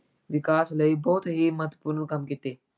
ਵਿਕਾਸ ਲਈ ਬਹੁਤ ਹੀ ਮਹੱਤਵਪੂਰਨ ਕੰਮ ਕੀਤੇ।